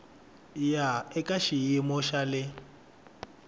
ya eka xiyimo xa le